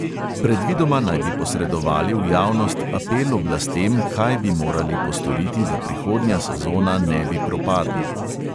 Predvidoma naj bi posredovali v javnost apel oblastem, kaj bi morali postoriti, da prihodnja sezona ne bi propadla.